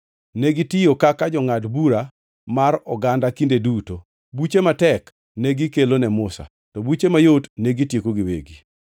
Negitiyo kaka jongʼad bura mar oganda kinde duto. Buche matek negikelo ne Musa, to buche mayot negitieko giwegi.